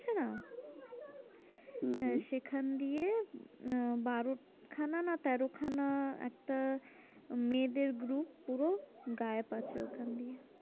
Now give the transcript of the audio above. হম হম সেখান দিয়ে আহ বারো খানা না তেরো খানা একটা মেয়েদের group পুরো গায়েব আছে ওইখান দিয়ে।